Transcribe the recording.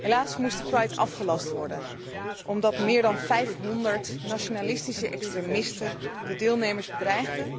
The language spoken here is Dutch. Helaas moest de afgelast worden, omdat meer dan 500 nationalistische extremisten de deelnemers bedreigden